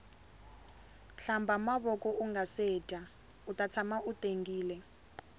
hlamba mavoko ungase dya uta tshama u tengile